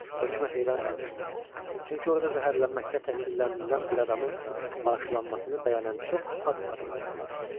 Hökmə heyran qalmışdılar, çünki orda zəhərlənməkdə təqsirləndirilən bir adamın bağışlanmasını bəyan edən çox az adam tapılardı.